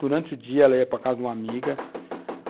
Durante o dia, ela ia para a casa de uma amiga.